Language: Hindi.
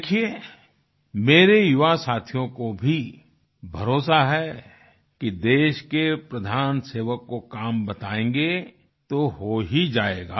देखिये मेरे युवा साथियों को भी भरोसा है कि देश के प्रधान सेवक को काम बतायेंगे तो हो ही जाएगा